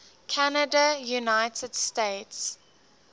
canada united states